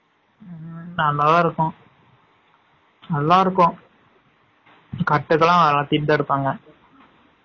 ம்ம் நல்லா தான் இருக்கும், னல்லா இருக்கும், கட்டுக்கு லாம் நல்லா தீர்ந்து எடுபாங்கா